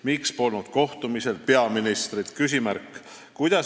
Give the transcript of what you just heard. Miks polnud kohtumisel peaministrit?